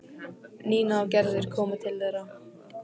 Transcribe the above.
Nína og Gerður komu til þeirra.